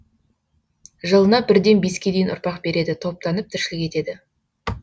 жылына бірден беске ұрпақ береді топтанып тіршілік етеді